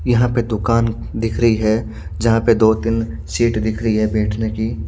यहाँ पे दुकान दिख रही है जहाँ पे दो तीन सीट दिख रही है बैठ ने की--